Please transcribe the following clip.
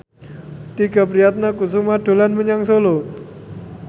Tike Priatnakusuma dolan menyang Solo